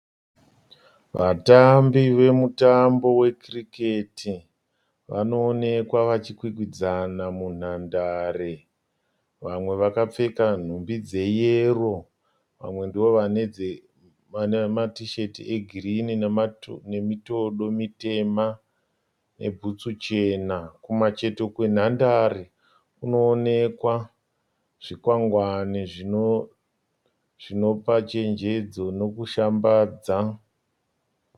Vatambi vemutambo wekiriketi vanoonekwa vachikwikwidzana munhandare. Vamwe vakapfeka nhumbi dzeyero vamwe matisheti egirini nemitodo mitema nebhutsu chena. Kumucheto kwenhandare kunoonekwa zvikwakwangwani zvinopa chenjedzo nekushambadza.